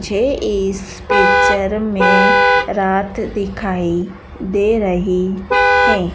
मुझे इस पिक्चर में रात दिखाई दे रही है।